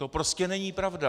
To prostě není pravda.